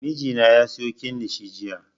Mijina ya siyo kilishi jiya